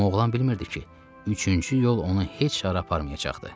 Amma oğlan bilmirdi ki, üçüncü yol onu heç hara aparmayacaqdı.